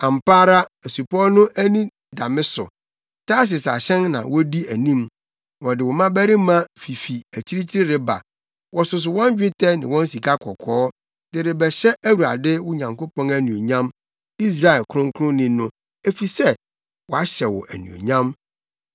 Ampa ara asupɔw no ani da me so; Tarsis ahyɛn na wodi anim, wɔde wo mmabarima fifi akyirikyiri reba, wɔsoso wɔn dwetɛ ne wɔn sikakɔkɔɔ, de rebɛhyɛ Awurade, wo Nyankopɔn anuonyam, Israel Kronkronni No, efisɛ wahyɛ wo anuonyam.